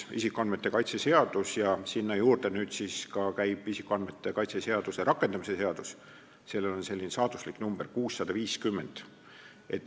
Võtame isikuandmete kaitse seaduse eelnõu ja sinna juurde käiva isikuandmete kaitse seaduse rakendamise seaduse, millel on saatuslik number 650.